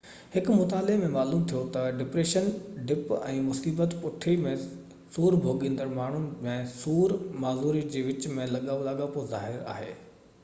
هن مطالعي ۾ معلوم ٿيو تہ ڊپريشن ڊپ ۽ مصيبت پُٺي ۾ سور ڀوڳيندڙ ماڻهڻ ۾ سور ۽ معذوري جي وچ ۾ لاڳاپو ظاهر ڪيو